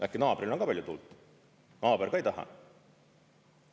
Äkki naabril on ka palju tuult, naaber ka ei taha?